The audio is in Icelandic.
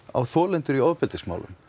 á þolendur í ofbeldismálum